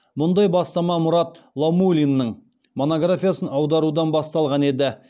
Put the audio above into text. мұндай бастама мұрат лаумулиннің монографиясын аударудан басталған еді